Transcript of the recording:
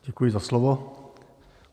Děkuji za slovo.